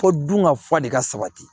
Fo dun ka fa de ka sabati